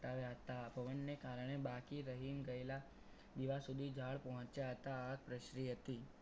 પ્રગટાવ્યા હતા. પવનને કારણે બાકી રહી ગયેલા દિવસ સુધી જાળ પહોંચ્યા હતા. આગ પ્રસરી હતી.